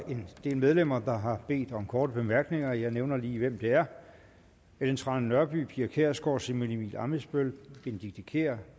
en del medlemmer der har bedt om korte bemærkninger jeg nævner lige hvem det er ellen trane nørby pia kjærsgaard simon emil ammitzbøll benedikte kiær